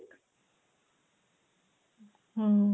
ಮ್ಮ್.